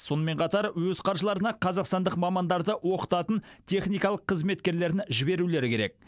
сонымен қатар өз қаржыларына қазақстандық мамандарды оқытатын техникалық қызметкерлерін жіберулері керек